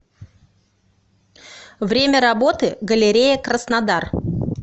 время работы галерея краснодар